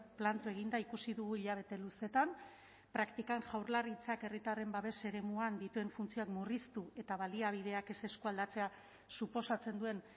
planto eginda ikusi dugu hilabete luzeetan praktikan jaurlaritzak herritarren babes eremuan dituen funtzioak murriztu eta baliabideak ez eskualdatzea suposatzen duen